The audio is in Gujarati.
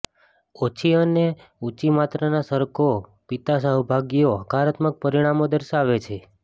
ઓછી અને ઊંચી માત્રાના સરકો પીતા સહભાગીઓ હકારાત્મક પરિણામો દર્શાવે છે